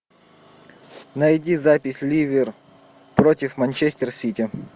найди запись ливер против манчестер сити